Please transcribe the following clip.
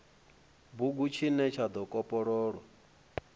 bugu tshine tsha do kopololwa